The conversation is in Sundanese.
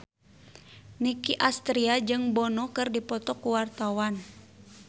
Nicky Astria jeung Bono keur dipoto ku wartawan